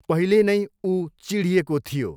पहिले नै ऊ चिढिएको थियो।